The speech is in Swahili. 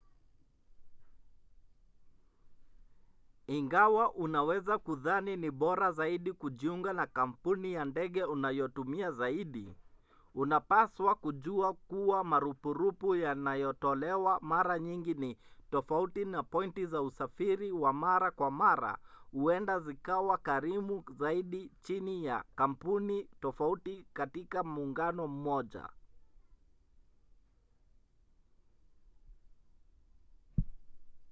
ingawa unaweza kudhani ni bora zaidi kujiunga na kampuni ya ndege unayotumia zaidi unapaswa kujua kuwa marupurupu yanayotolewa mara nyingi ni tofauti na pointi za usafiri wa mara kwa mara huenda zikawa karimu zaidi chini ya kampuni tofauti katika muungano mmoja